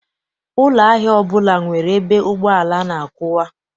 Ụlọ ahịa ọbụla nwere ebe ụgbọala na-akwụwa.